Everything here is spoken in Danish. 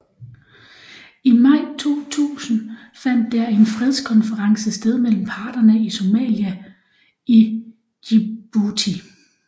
I maj 2000 fandt der en fredskonference sted mellem parterne i Somalia i Djibouti